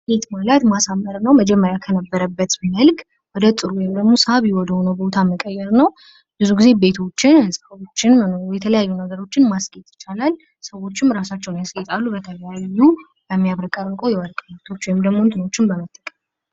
ማስጌጥ ማለት ማሳመር እና መጀመሪያ ከነበርበት መልክ ወደ ጥሩ ወይም ደግሞ ሳቢ ወደ ሆነው ቦታ መቀየር ነው። ብዙ ጊዜ ቤቶችን፣ ህንጻዎችን፣ የተለያዩ ነገሮችን ማስጌጥ ይቻላል።